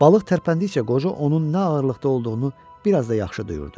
Balıq tərpəndikcə qoca onun nə ağırlıqda olduğunu biraz da yaxşı duyurdu.